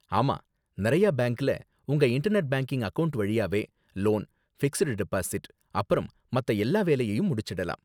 ஆமா, நிறையா பேங்க்ல உங்க இன்டர்நெட் பேங்கிங் அக்கவுண்ட் வழியாவே லோன், ஃபிக்ஸ்டு டெபாசிட், அப்பறம் மத்த எல்லா வேலையையும் முடிச்சிடலாம்.